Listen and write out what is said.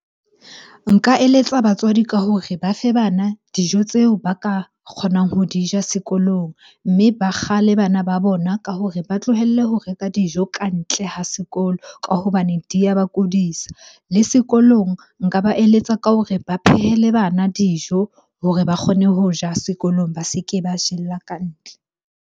Nka eletsa batswadi ka hore ba fe bana dijo tseo ba ka kgonang ho di ja sekolong. Mme ba bana ba bona ka hore ba tlohelle ho reka dijo ka ntle ha sekolo ka hobane di ya ba kudisa. Le sekolong nka ba eletsa ka hore ba phehele bana dijo hore ba kgone ho ja sekolong, ba se ke ba jella ka ntle.